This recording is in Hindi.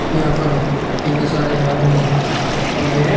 यहां पर कितने सारे आदमी इकट्ठा हो रहे हैं।